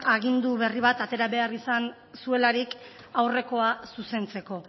agindu berri bat atera behar izan zuelarik aurrekoa zuzentzeko